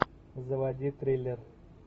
заводи триллер